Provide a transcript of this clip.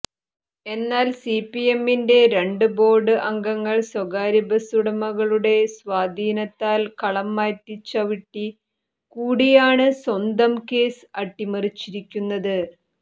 എന്നാൽ സിപിഎമ്മിന്റെ രണ്ട് ബോർഡ് അംഗങ്ങൾ സ്വകാര്യ ബസുടമകളുടെ സ്വാധീനത്താൻ കളം മാറ്റിച്ചവിട്ടി കൂടിയാണ് സ്വന്തം കേസ് അട്ടിമറിച്ചിരിക്കുന്നത്